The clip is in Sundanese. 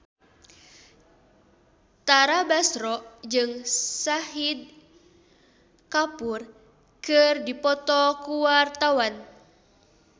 Tara Basro jeung Shahid Kapoor keur dipoto ku wartawan